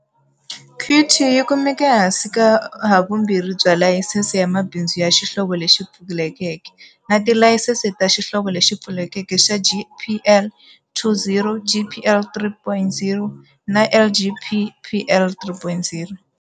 Qt yi kumeka ehansi ka havumbirhi bya layisense ya mabindzu ya xihlovo lexi pfulekeke. Na tilayisense ta xihlovo lexi pfulekeke xa GPL 2.0, GPL 3.0 na LGPL 3.0.